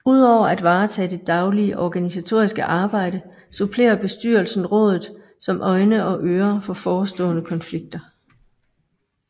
Udover at varetage det daglige organisatoriske arbejde supplerer Bestyrelsen Rådet som øjne og ører for forestående konflikter